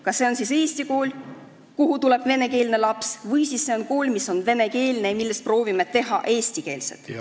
Kas see on siis eesti kool, kuhu tuleb venekeelne laps, või see on kool, mis on venekeelne ja millest me proovime teha eestikeelset?